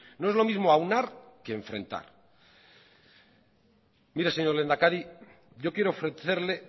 no es lo mismo aunar que enfrentar mire señor lehendakari yo quiero ofrecerle